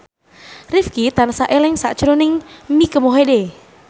Rifqi tansah eling sakjroning Mike Mohede